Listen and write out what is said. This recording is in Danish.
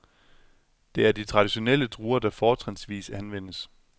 Det er de traditionelle druer, der fortrinsvis anvendes.